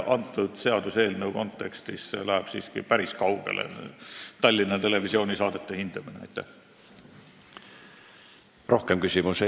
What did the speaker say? Kõnealuse seaduseelnõu kontekstist läheb Tallinna Televisiooni saadete hindamine siiski päris kaugele.